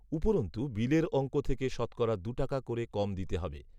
উপরন্তু, বিলের অঙ্ক থেকে শতকরা দু টাকা করে কম দিতে হবে